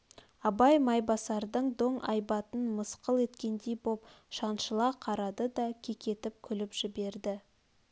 абай майбасардың доң айбатын мысқыл еткендей боп шаншыла қарады да кекетіп күліп жіберді